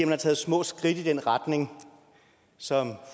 hun tager små skridt i den retning som